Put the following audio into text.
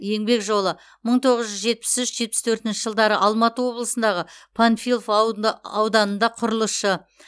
еңбек жолы мың тоғыз жүз жетіп үш жетпіс төртінші жылдары алматы облысындағы панфилов ауданында құрылысшы